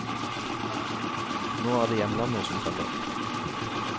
Nå er det hjemlandet som teller.